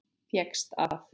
Fékkstu að.